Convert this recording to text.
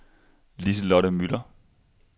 Liselotte Müller